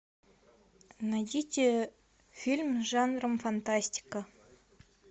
найдите фильм жанром фантастика